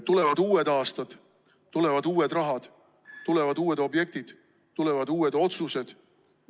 Tulevad uued aastad, tulevad uued rahad, tulevad uued objektid, tulevad uued otsused.